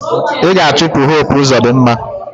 Ị ga-achụpụ Hope Uzodinma!